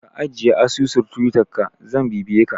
Ka ajiye asusun Twittar ka zan bibiye ka